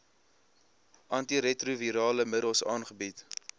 antiretrovirale middels aangebied